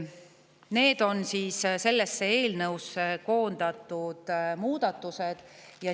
Need on sellesse eelnõusse koondatud muudatused.